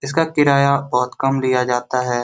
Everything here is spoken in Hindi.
इसका किराया बहुत कम लिया जाता है।